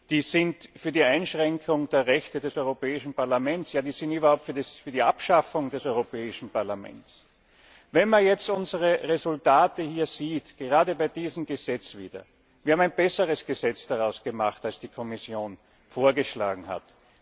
Die sind für die Einschränkung der Rechte des Europäischen Parlaments, ja sie sind überhaupt für die Abschaffung des Europäischen Parlaments. Wenn man jetzt unsere Resultate hier sieht, gerade bei diesem Gesetz wieder, dann haben wir ein besseres Gesetz daraus gemacht, als die Kommission vorgeschlagen hat.